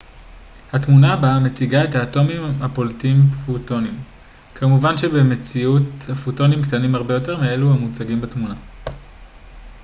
התמונה הבאה מציגה את האטומים הפולטים פוטונים כמובן שבמציאות הפוטונים קטנים הרבה יותר מאלו המוצגים בתמונה